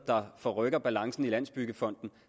der forrykker balancen i landsbyggefonden